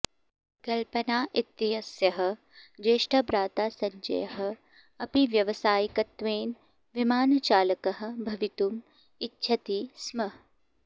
कल्पना इत्यस्याः ज्येष्ठभ्राता सञ्जयः अपि व्यावसायिकत्वेन विमानचालकः भवितुम् इच्छति स्म